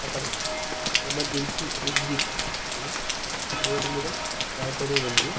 అక్కడ emergency exit అని board మీద రాయబడి ఉంది.